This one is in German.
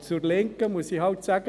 Der Linken muss ich einfach sagen: